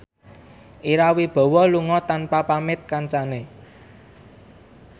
Ira Wibowo lunga tanpa pamit kancane